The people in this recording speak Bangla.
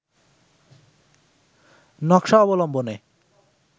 নকশা অবলম্বনে